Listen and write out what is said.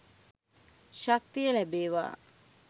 ශක්තිය ලැබේ‍වා.